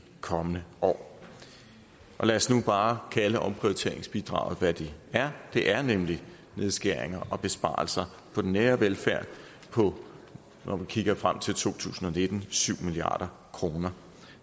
kommende år lad os nu bare kalde omprioriteringsbidraget hvad det er det er nemlig nedskæringer og besvarelser på den nære velfærd på når vi kigger frem til to tusind og nitten syv milliard kroner